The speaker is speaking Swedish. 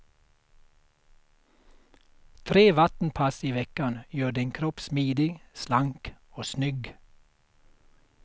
Tre vattenpass i veckan gör din kropp smidig, slank och snygg.